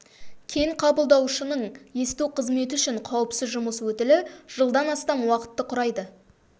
кен қабылдаушының есту қызметі үшін қауіпсіз жұмыс өтілі жылдан астам уақытты құрайды